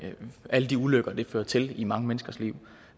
alle de ulykker det fører til i mange menneskers liv